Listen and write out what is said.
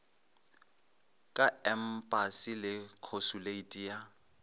ka empasi le khosuleiti ya